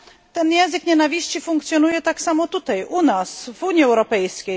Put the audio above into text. Ten język nienawiści funkcjonuje tak samo tutaj u nas w Unii Europejskiej.